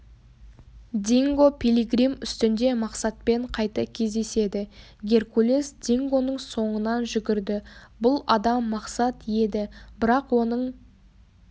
динго пилигрим үстінде мақсатпен қайта кездеседі геркулес дингоның соңынан жүгірді бұл адам мақсат еді бірақ оның